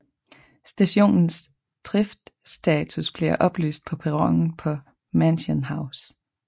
Stationens driftstatus bliver oplyst på perronen på Mansion House